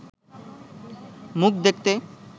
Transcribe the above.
মুখ দেখতে